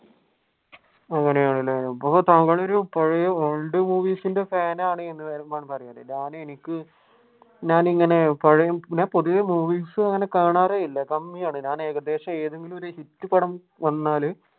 അങ്ങനെയാണല്ലേ അപ്പൊ താങ്കൾ ഒരു പഴയ old movies ഇന്റെ fan ആണ് ഞാൻ എനിക്ക് ഞാൻ ഇങ്ങനെ പഴയ ഞാൻ പൊതുവെ movies അങ്ങനെ കാണാറേ ഇല്ല. കമ്മിയാണ് ഞാൻ ഏകദേശം ഏതെങ്കിലും ഒരു hit പടം വന്നാൽ